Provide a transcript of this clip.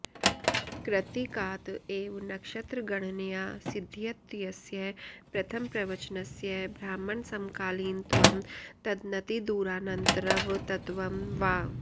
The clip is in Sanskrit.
कृत्तिकात एव नक्षत्रगणनया सिध्यत्यस्य प्रथमप्रवचनस्य ब्राह्मणसमकालीनत्वं तदनतिदूरानन्तरवतत्वं वा